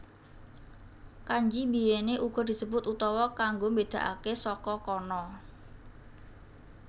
Kanji biyèné uga disebut utawa kanggo mbédakaké saka kana